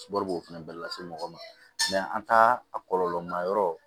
Balo b'o fɛnɛ lase mɔgɔ ma an taa a kɔlɔlɔ ma yɔrɔ